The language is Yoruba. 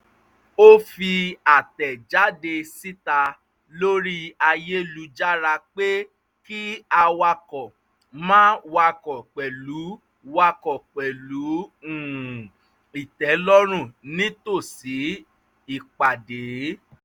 ó fi àtẹ̀jáde síta lori ayélujára pé kí awakọ̀ máa wakọ̀ pẹ̀lú wakọ̀ pẹ̀lú um ìtẹ́lọ́run nítòsí ìpàdé